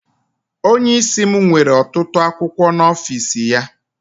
Onye isi m nwere ọtụtụ akwụkwọ n'ọfịs ya.